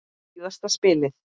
Síðasta spilið.